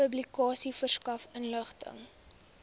publikasie verskaf inligting